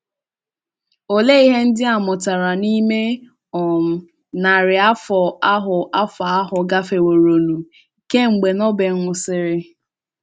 Òleé ihe ndị a mụtara n’ime um narị afọ ahụ afọ ahụ gafeworonụ kemgbe Nobel nwụsị̀rị̀?